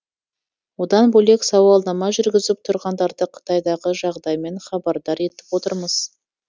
одан бөлек сауалнама жүргізіп тұрғындарды қытайдағы жағдаймен хабардар етіп отырмыз